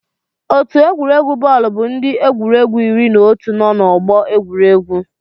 Otu egwuregwu bọọlụ bụ ndị egwuregwu iri na otu nọ n'ọgbọ egwuregwu.